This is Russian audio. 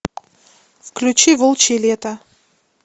включи волчье лето